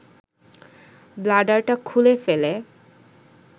ব্লাডারটা খুলে ফেলে